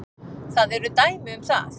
Það eru dæmi um það.